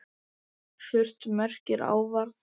Furt merkir árvað.